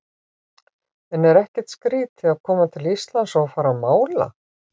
En er ekkert skrítið að koma til Íslands og fara að mála?